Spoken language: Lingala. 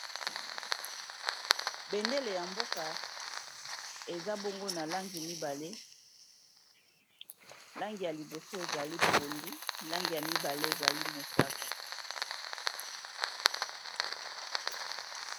bendele ya mboka eza bongo na langi mibale langi ya liboso ezali pondu langi ya mibale ezali mosaka